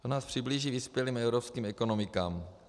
To nás přiblíží vyspělým evropským ekonomikám.